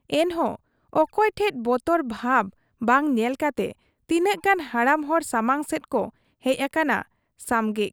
ᱮᱱᱦᱚᱸ ᱚᱠᱚᱭ ᱴᱷᱮᱫ ᱵᱚᱛᱚᱨ ᱵᱷᱟᱵᱽ ᱵᱟᱝ ᱧᱮᱞ ᱠᱟᱛᱮ ᱛᱤᱱᱟᱹᱜ ᱜᱟᱱ ᱦᱟᱲᱟᱢ ᱦᱚᱲ ᱥᱟᱢᱟᱝ ᱥᱮᱫ ᱠᱚ ᱦᱮᱡ ᱟᱠᱟᱱᱟ ᱥᱟᱢᱜᱮᱜ ᱾